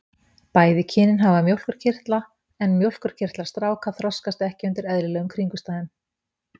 Bæði kynin hafa mjólkurkirtla en mjólkurkirtlar stráka þroskast ekki undir eðlilegum kringumstæðum.